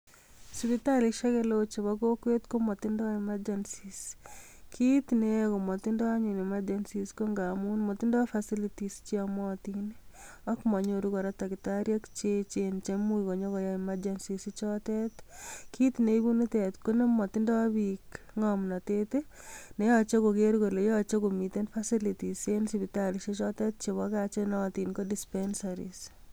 Sipitalisiek eleo chebo kokwet, komotindoi emergency .Kit neyoe komotindoi anyun emachensis ko angamun motindoi certificates cheomotiin ak monyoru takitariek Che even, cheimuch inyon koyaai emachensis ichotet. Kit neibuu nitet konemotindoi book ng'omnotet i,neyoche koger kole yoche komiten facilities en sipitalisie k chotet chebo gaa chenootin KO dispensaris